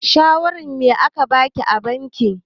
Shawarin me a ka baki a bankin?